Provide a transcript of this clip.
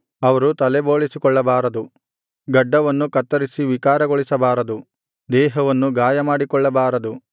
ಅವರು ತಲೆಬೋಳಿಸಿಕೊಳ್ಳಬಾರದು ಗಡ್ಡವನ್ನು ಕತ್ತರಿಸಿ ವಿಕಾರಗೊಳಿಸಬಾರದು ದೇಹವನ್ನು ಗಾಯಮಾಡಿಕೊಳ್ಳಬಾರದು